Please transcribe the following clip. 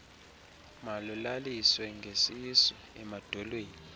malulaliswe ngesisu emadolweni